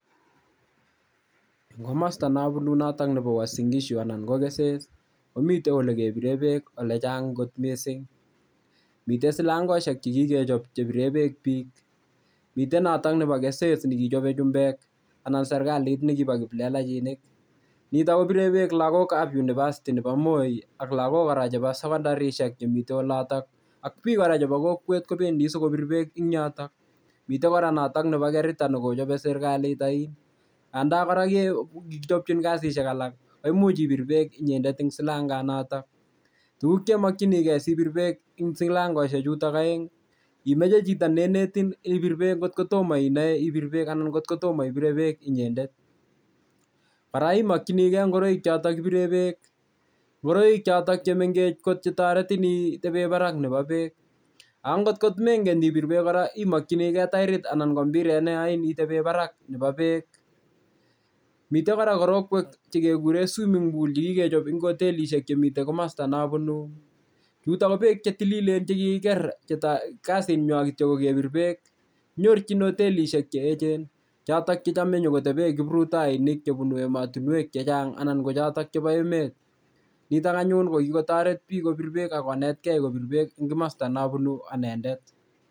Eng' komosta nabunu nebo Uasin Gishu anan ko keses komitei ole kebire beek ole chang' kot mising mitei silangoshek chekikechop chebire beek biik mitei noto nebo keses nikichobei chumbek anan serikalit nekibo kiplelakinik nito kobire beek lagokab university nebo moi ak lagok kora chebo sekondarishek chemitei oloto ak biik kora chebo kokwet kobendi sikobir beek eng' yoto mitei kora nebo kerita nekochobei serikalit oin nganda kora kikichopchi kasishek alak koimuch ibir beek inyendet eng' silanganoto tukcheimokchinigei sibir beek eng' silangoshechuto oeng' imeche chito neinetin kotkotomo inoe ibir beek anan ngotkotomo ibire beek inyendet kora imokchinigei ngoroichoto kibire beek ngoroichoto chemengech chetoretin itebe barak nebo beek akongotkomengen ibir beek kora imokchinigei toirit anan ko mpiret neyoin itebe barak nebo beek mitei kora korotwek chekekuree swimming pool chikokechop eng' hotelishek chemitei komosta nabunu chuto ko beek chetililen chekikiker che kasing'wai kitcho kokebir beek kinyorchini hotelishek cheechen choto chechomei nyokotebe kiprutoinik chebunu emotinwek chechang'ana ko choto chebo emet nito anyun ko kikotoret biik kobire beek akonetgei kobire beek eng' komosta nabunu anendet